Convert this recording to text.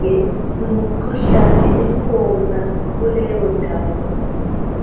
ngemikhuhlane ekhona kuleyo ndawo